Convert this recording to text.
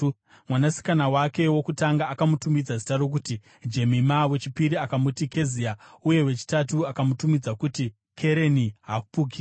Mwanasikana wake wokutanga akamutumidza zita rokuti Jemima, wechipiri akamuti Kezia uye wechitatu akamutumidza kuti Kereni-Hapuki.